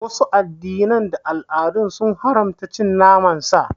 Wasu addinan da al'adun sun haramta cin naman sa.